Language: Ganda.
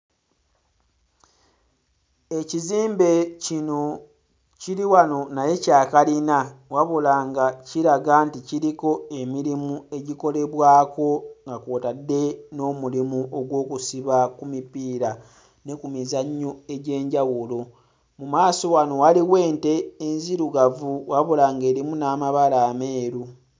Ekizimbe kino kiri wano naye kya kalina wabula nga kiraga nti kiriko emirimu egikolebwako nga kw'otadde n'omulimu ogw'okusiba ku mipiira ne ku mizannyo egy'enjawulo mu maaso wano waliwo ente enzirugavu wabula ng'erimu n'amabala ameeru.